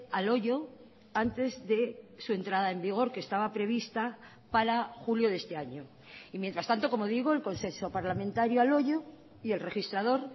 al hoyo antes de su entrada en vigor que estaba prevista para julio de este año y mientras tanto como digo el consenso parlamentario al hoyo y el registrador